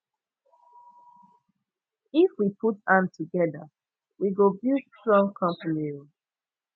if we put hand togeda we go build strong company o